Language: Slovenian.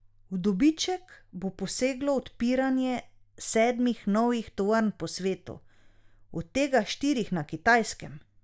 V dobiček bo poseglo odpiranje sedmih novih tovarn po svetu, od tega štirih na Kitajskem.